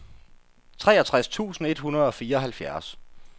treogtres tusind et hundrede og fireoghalvfjerds